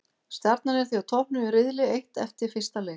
Stjarnan er því á toppnum í riðli eitt eftir fyrsta leik.